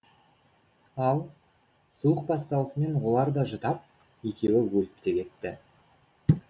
ал суық басталысымен олар да жұтап екеуі өліп те кетті